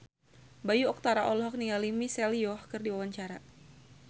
Bayu Octara olohok ningali Michelle Yeoh keur diwawancara